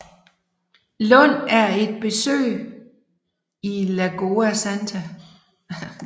Lund et besøg i Lagoa Santa